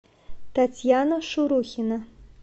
татьяна шурухина